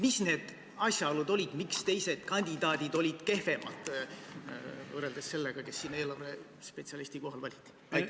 Millised olid need asjaolud, mille poolest teised kandidaadid olid kehvemad, võrreldes sellega, kes eelarvespetsialisti kohale valiti?